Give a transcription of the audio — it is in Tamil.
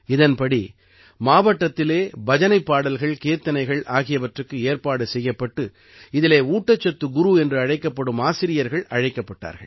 இதன்படி மாவட்டத்திலே பஜனைப் பாடல்கள்கீர்த்தனைகள் ஆகியவற்றுக்கு ஏற்பாடு செய்யப்பட்டு இதிலே ஊட்டச்சத்து குரு என்று அழைக்கப்படும் ஆசிரியர்கள் அழைக்கப்பட்டார்கள்